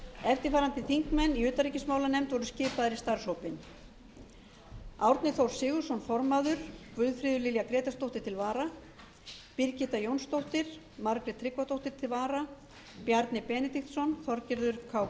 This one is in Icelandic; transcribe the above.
eftirfarandi þingmenn úr utanríkismálanefnd voru skipaðir í starfshópinn formaður árni þór sigurðsson til vara guðfríður lilja grétarsdóttir birgitta jónsdóttir til vara margrét tryggvadóttir bjarni benediktsson til vara þorgerður k